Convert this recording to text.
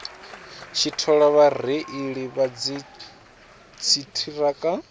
tshi thola vhareili vha dziṱhirakha